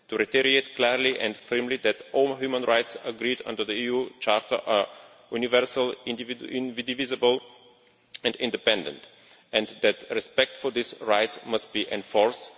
to reiterate clearly and firmly that all human rights agreed under the EU Charter are universal, indivisible and independent and that respect for these rights must be enforced